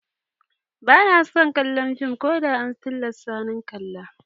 Ba na kalla fim mai ban tsoro ko ya an tillasa ni n'kalla.